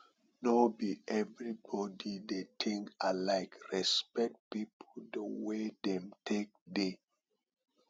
no be everybody dey think alike respect pipo di way dem take dey